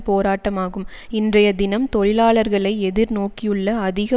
போராட்டமாகும் இன்றைய தினம் தொழிலாளர்களை எதிர்நோக்கியுள்ள அதிக